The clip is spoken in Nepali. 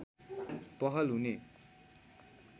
पहल हुने